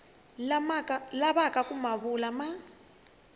lavaka ku ma vula ya